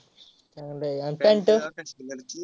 चांगलय आहे आणि pant?